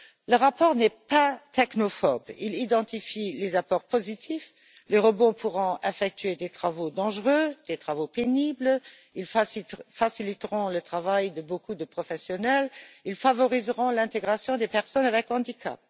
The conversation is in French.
Le rapport n'est pas technophobe, il identifie les apports positifs les robots pourront effectuer des travaux dangereux ou pénibles, ils faciliteront le travail de beaucoup de professionnels, ils favoriseront l'intégration des personnes ayant un handicap.